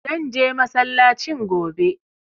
Zan je masallacin gobe.